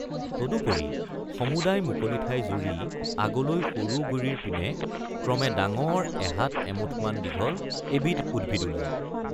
তদুপৰি সমুদায় মুকলি ঠাই জুৰি আগলৈ সৰু গুৰিৰ পিনে ক্ৰমে ডাঙৰ এহাত এমুঠনমান দীঘল এবিধ উদ্ভিদ ওলায়।